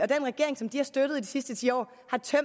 den regering som de har støttet de sidste ti år